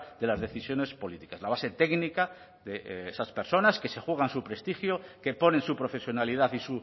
de las decisiones políticas la base técnica de esas personas que se juegan su prestigio que ponen su profesionalidad y